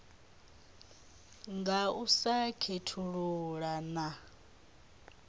nga u sa khethulula na